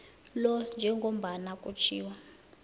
lo njengombana kutjhiwo